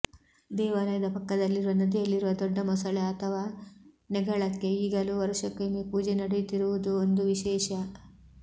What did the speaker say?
ದೇವಾಲಯದ ಪಕ್ಕದಲ್ಲಿರುವ ನದಿಯಲ್ಲಿರುವ ದೊಡ್ಡ ಮೊಸಳೆ ಅಥವಾ ನೆಗಳಕ್ಕೆ ಈಗಲೂ ವರುಷಕ್ಕೊಮ್ಮೆ ಪೂಜೆ ನಡೆಯುತ್ತಿರುವುದೂ ಒಂದು ವಿಶೇಷ